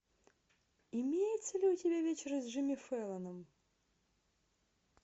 имеется ли у тебя вечер с джимми фэллоном